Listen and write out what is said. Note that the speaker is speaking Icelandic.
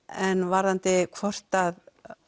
en varðandi hvort að